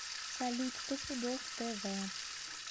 салют стопудов тэ вэ